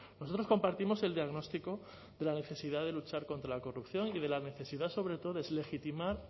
nosotros compartimos el diagnóstico de la necesidad de luchar contra la corrupción y de la necesidad sobre todo deslegitimar